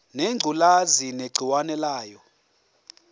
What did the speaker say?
ngengculazi negciwane layo